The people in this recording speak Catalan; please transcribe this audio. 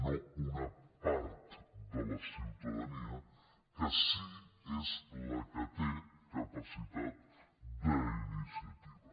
no una part de la ciutadania que sí és la que té capacitat d’iniciativa